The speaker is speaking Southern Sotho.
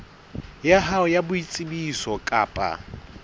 ya hao ya boitsebiso kapa